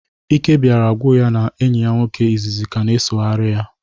Íké bịara gwụ ya n'ịhị enyi ya nwoke ịzịzị ka na-esogharị ya